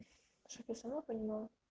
чтоб я сама понимала